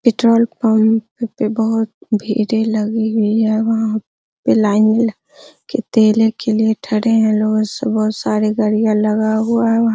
petrol pump पे बहुत भीड़े लगी हुई है वहाँ पे लाइन में लग के तेले के लिए ठरे है लोग सुबह सारे गाड़ियाँ लगा हुआ है वहाँ --